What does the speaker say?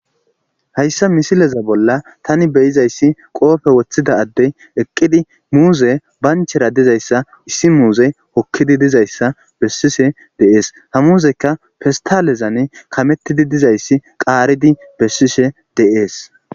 hayssa misileza bolla tani beyizayssi qoofe woththida addey eqqidi muuze banchera dizayssa issi muuze hokkidi dizayssa bessise deees ha muuzekka fistalezan kamettidi dizayssi qaaridi bessishe deees